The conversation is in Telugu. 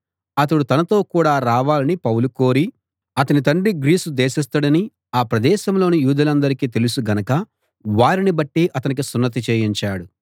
అతడు తనతో కూడ రావాలని పౌలు కోరి అతని తండ్రి గ్రీసు దేశస్థుడని ఆ ప్రదేశంలోని యూదులందరికీ తెలుసు గనక వారిని బట్టి అతనికి సున్నతి చేయించాడు